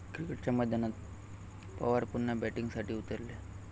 क्रिकेटच्या मैदानात पवार पुन्हा 'बॅटिंग'साठी उतरले!